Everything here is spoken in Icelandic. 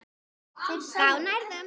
Þá nærðu.